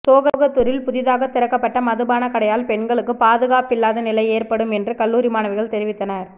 சோகத்தூரில் புதிதாக திறக்கப்பட்ட மதுபான கடையால் பெண்களுக்கு பாதுகாப்பிலாத நிலை ஏற்படும் என்றும் கல்லூரி மாணவிகள் தெரிவித்தனர்